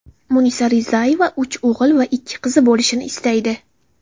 Munisa Rizayeva uch o‘g‘il va ikki qizi bo‘lishini istaydi.